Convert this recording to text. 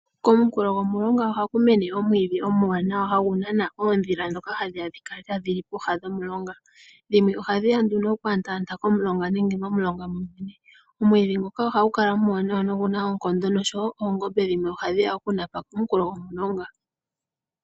Komunkulo gwomulonga oha kumene omwiidhi omuwanawa ngono hagu nana oondhila ndhoka hadhi ya oku kala tadhili komunkulo gwomulonga. Dhimwe ohadhi ya oku anta anta kooha dhomulonga nenge momulonga momwene. Omwiidhi nguka ohagu kala omuwanawa nohagu kala guna oonkondo noongombe dhimwe ohadhi ya okunapa kooha dhomulonga.